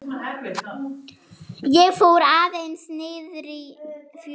Ég fór aðeins niðrí fjöru.